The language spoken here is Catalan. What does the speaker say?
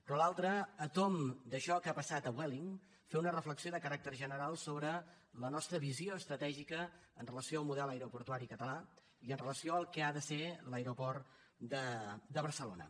però l’altre a tomb d’això que ha passat a vueling fer una reflexió de caràcter general sobre la nostra visió estratègica amb relació al model aeroportuari català i amb relació al que ha de ser l’aeroport de barcelona